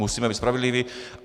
Musíme být spravedliví.